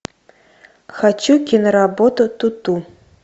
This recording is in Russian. хочу киноработу туту